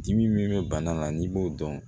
Dimi min bɛ bana la n'i b'o dɔn